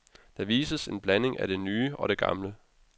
Der vises en blanding af det nye og det gamle.